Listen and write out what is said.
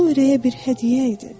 O ürəyə bir hədiyyə idi.